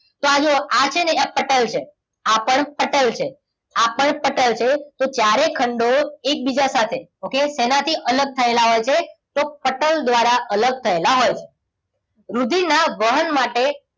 તો આ જુઓ આ છે ને એ પટલ છે, આ પણ પટલ છે, આ પણ પટલ છે. તો ચારે ખંડો એકબીજા સાથે okay તેનાથી અલગ થયેલા હોય છે. તો પટલ દ્વારા અલગ થયેલા હોય છે. રુધિરના વાહન માટે